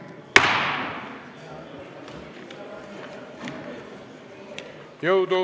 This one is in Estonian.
Kohtume!